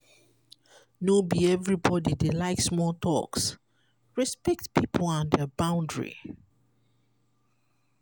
no be everybodi dey like small talks respect pipo and their boundry